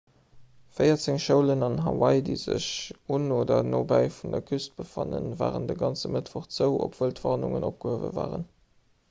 véierzéng schoulen an hawaii déi sech un oder nobäi vun der küst befannen waren de ganze mëttwoch zou obwuel d'warnungen opgehuewe waren